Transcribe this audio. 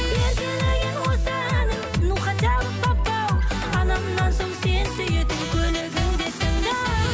еркелеген осы әнім ну хотя бы папау анамнан соң сен сүйетін көлігіңде тыңда